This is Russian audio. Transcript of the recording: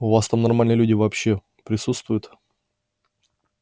у вас там нормальные люди вообще присутствуют